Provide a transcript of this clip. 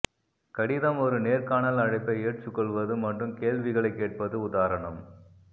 கடிதம் ஒரு நேர்காணல் அழைப்பை ஏற்றுக்கொள்வது மற்றும் கேள்விகளைக் கேட்பது உதாரணம்